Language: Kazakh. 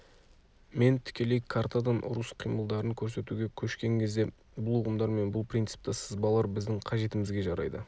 мен тікелей картадан ұрыс қимылдарын көрсетуге көшкен кезде бұл ұғымдар мен бұл принципті сызбалар біздің қажетімізге жарайды